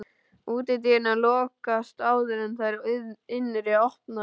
Útidyrnar lokast áður en þær innri opnast.